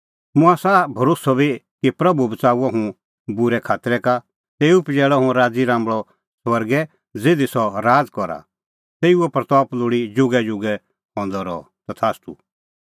मुंह आसा भरोस्सअ बी कि प्रभू बच़ाऊंणअ हुंह बूरै खातरै का तेऊ पजैल़णअ हुंह राज़ीराम्बल़अ स्वर्गै ज़िधी सह राज़ करा तेऊए महिमां लोल़ी जुगैजुगै हुई तथास्तू